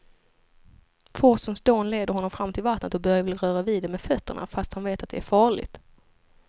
Forsens dån leder honom fram till vattnet och Börje vill röra vid det med fötterna, fast han vet att det är farligt.